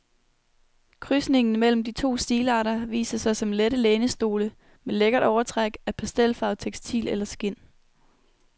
Krydsningen mellem de to stilarter viser sig som lette lænestole med lækkert overtræk af pastelfarvet tekstil eller skind.